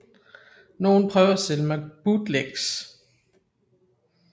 Nogle prøvede at sælge mig bootlegs